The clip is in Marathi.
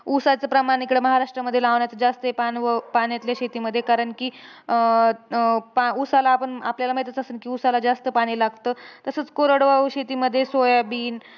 ऊसाचं प्रमाण इकडं महाराष्ट्रामध्ये लावण्याचं जास्त एक अनुभव पाण्यातल्या शेतीमध्ये कारण की, अं पा ऊसाला आपण आपल्याला माहितंच असंल की ऊसाला जास्त पाणी लागतं. तसंच कोरडवाहू शेतीमध्ये सोयाबीन,